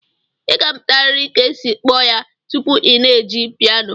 Ị ga-amụtarịrị ka esi akpọ ya tupu ị na-eji piano